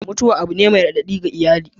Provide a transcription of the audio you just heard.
Mutuwa abu ne mai raɗaɗi ga iyali.